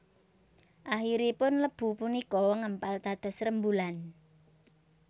Akhiripun lebu punika ngempal dados rembulan